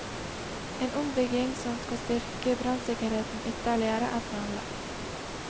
En ombygging som skal styrke brannsikkerheten ytterligere er planlagt.